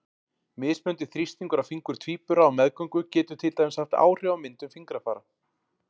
Mismunandi þrýstingur á fingur tvíbura á meðgöngu getur til dæmis haft áhrif á myndun fingrafara.